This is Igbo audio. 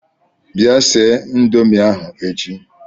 Bịa sie Ịndomì ahụ echi!